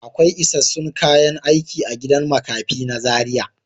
Akwai isassun kayan aiki a gidan makafi na Zaria.